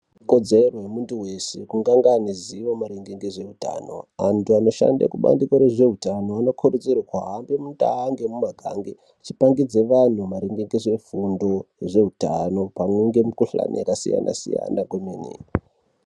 Ikodzero yemuntu wese kuti ange ane ruziwo maringe ngezve utano. Anthu anoshanda kubandiko rezveutano anokurudzirwa kuti ahambe mundau nemumagange, achipangidze vantu maringe ngezve fundo yezveutano pamwe nemikhuhlani yakasiyana-siyana kwemene.